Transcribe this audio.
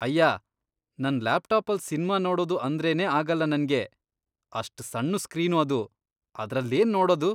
ಅಯ್ಯಾ.. ನನ್ ಲ್ಯಾಪ್ಟಾಪಲ್ ಸಿನ್ಮಾ ನೋಡೋದು ಅಂದ್ರೇನೇ ಆಗಲ್ಲ ನಂಗೆ. ಅಷ್ಟ್ ಸಣ್ಣು ಸ್ಕ್ರೀನ್ ಅದು.. ಅದ್ರಲ್ಲೇನ್ ನೋಡದು.